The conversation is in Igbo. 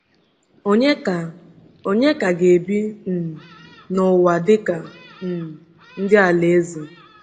Ònye ka Ònye ka ga-ebi um n’ụwa dịka um ndị Alaeze?